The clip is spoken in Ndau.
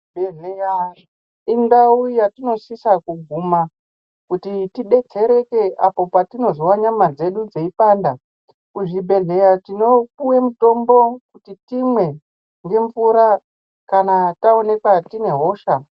Chibhedhleya indau yatinosisa kuguma kuti tidetsereke apo patinozwa nyama dzedu dzeipanda. Kuzvibhedhlera tinopuwa mutombo kuti timwe ngemvura kana taonekwa tine hosha.